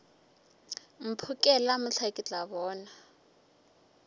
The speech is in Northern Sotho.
mphokela mohla ke tla bona